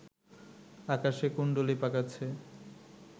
আকাশে কুন্ডুলি পাকাচ্ছে